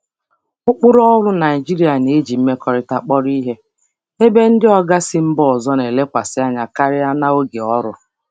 um Ụkpụrụ ọrụ Naịjirịa na-eji mmekọrịta kpọrọ ihe, ebe ndị oga ndị oga si mba ọzọ na-elekwasị anya karịa na oge ọrụ.